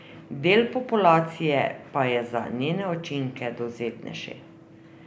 Del populacije pa je za njene učinke dovzetnejši.